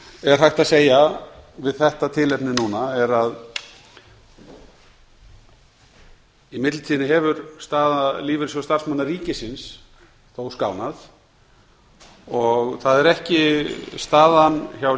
er hægt að segja við þetta tilefni núna er að í millitíðinni hefur staða lífeyrissjóðs starfsmanna sveitarfélaga þó skánað það er ekki staðan hjá